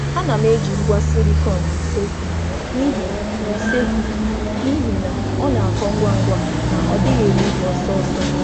A na m eji ugbo silịkọn n’ụlọ nri n’ihi na ọ na-akọ ngwa ngwa ma na-adịru ogologo oge.